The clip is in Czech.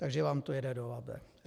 - Takže vám to jede do Labe.